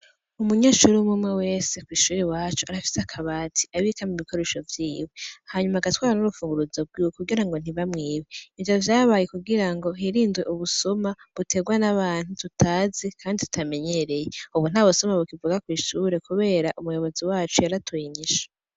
Umunyeshure umwumwe wese kw'ishure iwacu arafise akabati abikamwo ibikoresho vyiwe, hanyuma agatwara n'urufunguruzo rwiwe kugira ntibamwibe, ivyo vyabaye kugirango hirindwe ubusuma buterwa n'abantu tutazi kandi tutamenyereye, ubu nta busuma bukivugwa kw'ishure kubera umuyobozi wacu yaratoye inyishu.